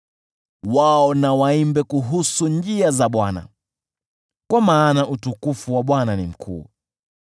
Wao na waimbe kuhusu njia za Bwana , kwa maana utukufu wa Bwana ni mkuu.